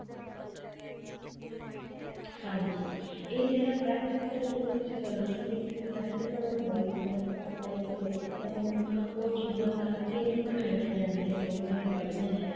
ਹਾਂਜੀ ਇਹ ਜਿਹੜੇ practical ਜਿਹੜੇ ਤੁਸੀਂ ਗੱਲ ਕੀਤੀ ਆ ਕੇ practical involvement ਘੱਟ ਹੈ ਕੀ ਉਹਨਾ ਨੂੰ ਇਹ ਚੀਜ਼ਾਂ ਕਰਕੇ ਨਹੀਂ ਦਿਖਾਈਆਂ ਜਾਂਦੀਆਂ ਜੋ ਉਹਨਾ ਨੇ ਪੜ੍ਹੀਆਂ ਹੈ